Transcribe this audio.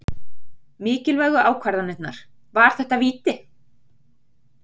Mikilvægu ákvarðanirnar- var þetta víti?